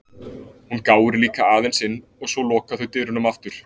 Hún gáir líka aðeins inn og svo loka þau dyrunum aftur.